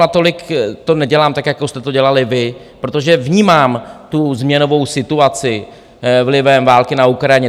Natolik to nedělám, tak jako jste to dělali vy, protože vnímám tu změnovou situaci vlivem války na Ukrajině.